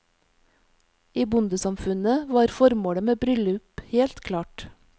I bondesamfunnet var formålet med bryllup helt klart.